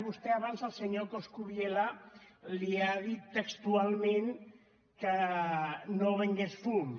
vostè abans al senyor coscubiela li ha dit textualment que no vengués fum